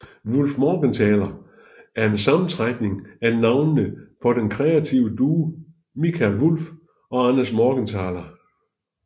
Wullfmorgenthaler er en sammentrækning af navnene på den kreative duo Mikael Wulff og Anders Morgenthaler